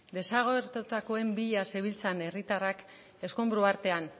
desagertutakoen bila zebiltzan herritarrak eskonbru artean